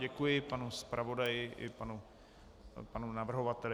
Děkuji panu zpravodaji i panu navrhovateli.